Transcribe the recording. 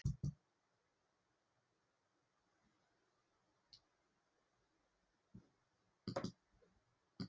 Er mikill áhugi fyrir knattspyrnu kvenna á Vopnafirði?